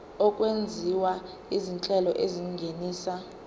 okwenziwa izinhlelo ezingenisa